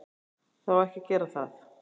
Það á ekki að gera það.